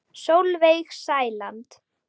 Sólveig Sæland.